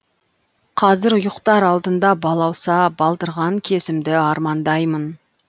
қазір ұйықтар алдында балауса балдырған кезімді армандаймын